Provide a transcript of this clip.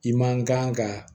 I man kan ka